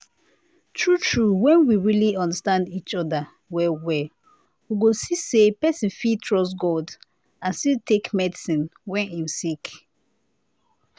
true - true when we really understand each other well well we go see say person fit trust god and still take medicine when him sick